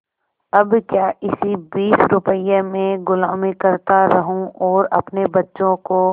अब क्या इसी बीस रुपये में गुलामी करता रहूँ और अपने बच्चों को